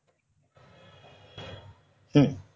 হম